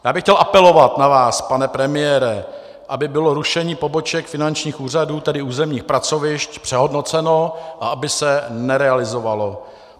Já bych chtěl apelovat na vás, pane premiére, aby bylo rušení poboček finančních úřadů, tedy územních pracovišť, přehodnoceno a aby se nerealizovalo.